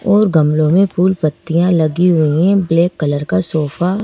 और गमलों में फूल पत्तियाँ लगी हुई हैं ब्लैक कलर का सोफा --